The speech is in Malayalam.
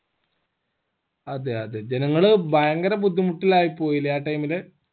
അതെ അതെ ജനങ്ങള് ഭയങ്കര ബുദ്ധിമുട്ടിലായിപ്പോയല്ലേ ആ time ല്